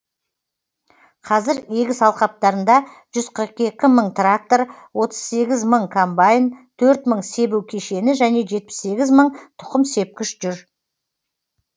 қазір егіс алқаптарында жүз қырық екі мың трактор отыз сегіз мың комбаин төрт мың себу кешені және жетпіс сегіз мың тұқым сепкіш жүр